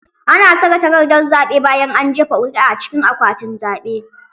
Ana saka takardar zaɓe bayan an jefa ƙuri'a a cikin akwatin zaɓe.